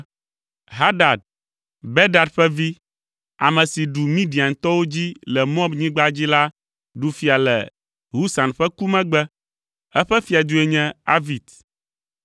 Hadad, Bedad ƒe vi, ame si ɖu Midiantɔwo dzi le Moabnyigba dzi la ɖu fia le Husam ƒe ku megbe. Eƒe fiadue nye Avit.